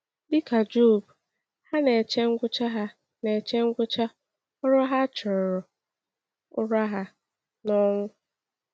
“Dịka Job, ha na-eche ngwụcha ha na-eche ngwụcha ‘ọrụ ha a chọrọ,’ ụra ha n’ọnwụ.”